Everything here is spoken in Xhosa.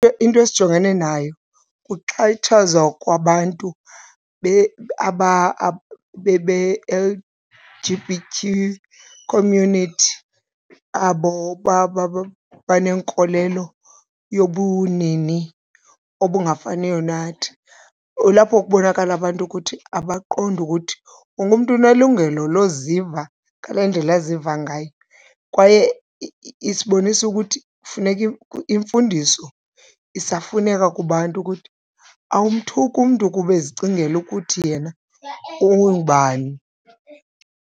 Into esijongene nayo kuxhatshazwa kwabantu be-L_G_B_Q community, abo banenkolelo yobunini obungafaniyo nathi. Kulapho kubonakala abantu ukuthi abaqondi ukuthi wonke umntu unelungelo loziva ngale ndlela aziva ngayo kwaye isibonisa ukuthi kufuneka, imfundiso isafuneka kubantu ukuthi awumthuki umntu kuba ezicingela ukuthi yena ungubani.